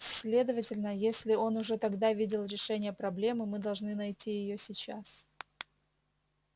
следовательно если он уже тогда видел решение проблемы мы должны найти её сейчас